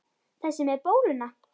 Þessi með bóluna?